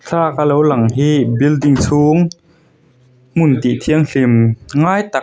thlalaka lo lang hi building chhung hmun tihthianghlim ngai tak.